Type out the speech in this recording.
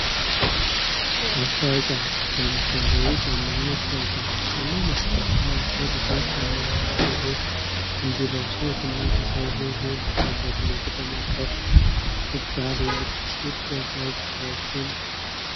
ማስታወቂያ ለምሳሌ የጫማ ማስታወቂያ የጫማ ማስታወቂያ የሰው ልጆች ጫማውን እንዲገዙት እንዲለብሱት እና በሰዎች ዘንድ ተወዳጅነትን ለማትረፍ ሲባል የሚደረ ሰዎች